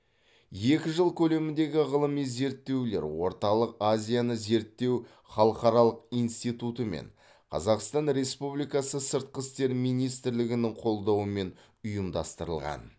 екі жыл көлеміндегі ғылыми зерттеулерлер орталық азияны зерттеу халықаралық институты мен қазақстан республикасы сыртқы істер министрлігінің қолдауымен ұйымдастырылған